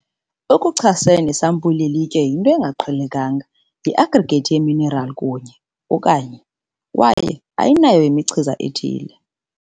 okuchasene, isampuli yelitye yinto engaqhelekanga yi-aggregate yeminerali kunye, okanye kwaye ayinayo imichiza ethile